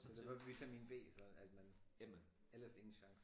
Så det var vitamin B så at man ellers ingen chance